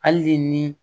Hali ni